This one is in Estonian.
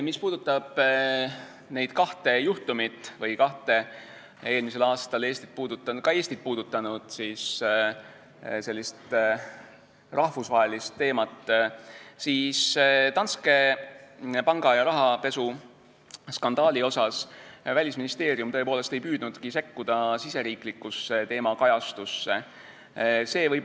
Mis puudutab neid kahte juhtumit või kahte eelmisel aastal ka Eestit puudutanud rahvusvahelist teemat, siis Danske panga ja rahapesuskandaali puhul Välisministeerium tõepoolest ei püüdnudki riigisisesesse teemakajastusse sekkuda.